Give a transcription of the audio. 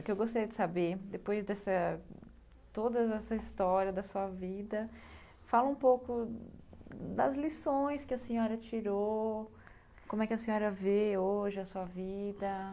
O que eu gostaria de saber, depois dessa toda essa história da sua vida, fala um pouco das lições que a senhora tirou, como é que a senhora vê hoje a sua vida.